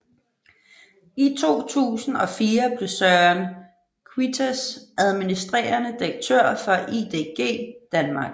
I 2004 blev Søren Queitsch administrerende direktør for IDG Danmark